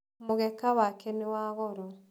Mũgeka wake nĩ wa goro.